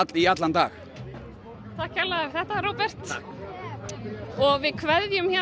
í allan dag takk kærlega þetta Róbert við kveðjum héðan